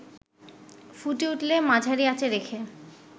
ফুটে উঠলে মাঝারি আঁচে রেখে